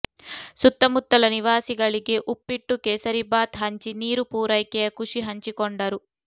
ಸುತ್ತಮುತ್ತಲ ನಿವಾಸಿಗಳಿಗೆ ಉಪ್ಪಿಟ್ಟು ಕೇಸರಿಬಾತ್ ಹಂಚಿ ನೀರು ಪೂರೈಕೆಯ ಖುಷಿ ಹಂಚಿಕೊಂಡರು